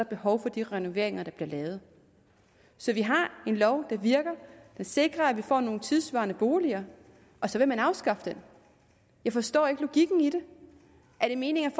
behov for de renoveringer der bliver lavet så vi har en lov der virker den sikrer at vi får nogle tidssvarende boliger og så vil man afskaffe den jeg forstår ikke logikken i det er det meningen at